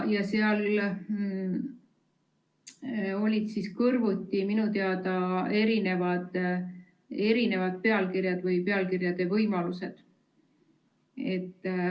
Minu teada olid seal kõrvuti erinevad pealkirjad või pealkirjade võimalused.